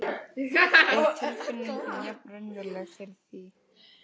En tilfinningin jafn raunveruleg fyrir því.